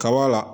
Kaba la